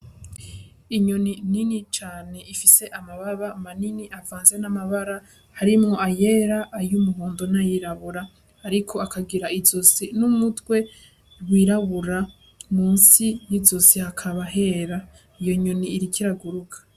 Inyoni nini cane ifise amababa manini avanze n'amabara, harimwo ayera, ay'umuhondo n'ayirabura. Ariko akagira izosi n'umutwe wirabura, munsi y'izosi hakaba hera. Iyo nyoni iriko iraguruka.